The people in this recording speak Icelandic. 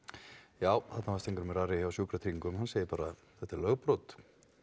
já þarna var Steingrímur Ari hjá Sjúkratryggingum hann segir bara að þetta sé lögbrot